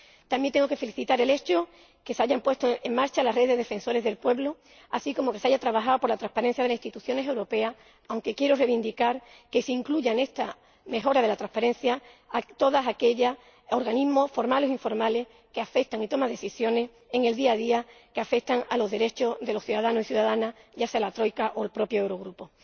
También tengo que felicitar el hecho de que se haya puesto en marcha la Red Europea de Defensores del Pueblo, así como que se haya trabajado por la transparencia de las instituciones europeas, aunque quiero reivindicar que se incluya en esta mejora de la transparencia a todos aquellos organismos, formales o informales, que toman, en el día a día, decisiones que afectan a los derechos de los ciudadanos y ciudadanas, ya sea la troika o el propio Eurogrupo.